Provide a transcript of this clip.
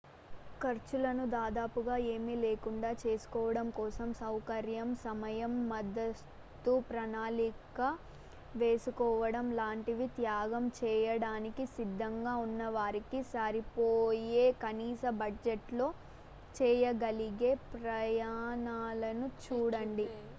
ఖర్చులను దాదాపుగా ఏమీ లేకుండా చేసుకోవడం కోసం సౌకర్యం సమయం ముందస్తు ప్రణాళికలు వేసుకోవడం లాంటివి త్యాగం చేయడానికి సిద్ధంగా ఉన్న వారికి సరిపోయే కనీస బడ్జెట్లో చేయగలిగే ప్రయాణాలను చూడండి